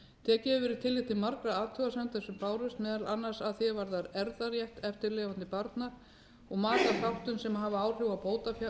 tekið hefur verið tillit til margra athugasemda sem bárust meðal annars að því er varðar erfðarétt eftirlifandi barna og maka þáttum sem hafa áhrif